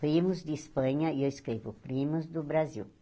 Primos de Espanha, e eu escrevo Primos do Brasil.